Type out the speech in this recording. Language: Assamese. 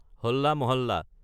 হলা মহাল্লা